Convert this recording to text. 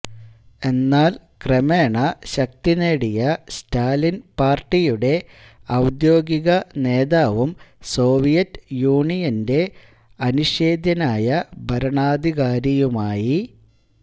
എന്നാൽ ക്രമേണ ശക്തിനേടിയ സ്റ്റാലിൻ പാർട്ടിയുടെ ഔദ്യോഗിക നേതാവും സോവിയറ്റ് യൂണിയന്റെ അനിഷേധ്യനായ ഭരണാധികാരിയുമായി